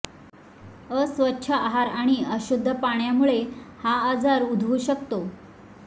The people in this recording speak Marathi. अस्वच्छ आहार आणि अशुद्ध पाण्यामुळं हा आजार उद्भवू शकतो